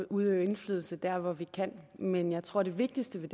udøve indflydelse der hvor vi kan men jeg tror det vigtigste